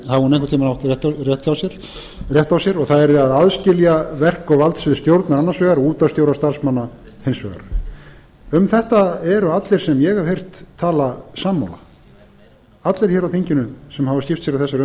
átt rétt á sér það yrði að aðskilja verk og valdsvið stjórnar annars vegar og útvarpsstjóra og starfsmanna hins vegar um þetta eru allir sem ég hef heyrt tala sammála allir hér á þinginu sem hafa skipt sér